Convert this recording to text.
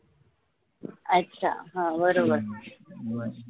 अच्छा हां बरोबर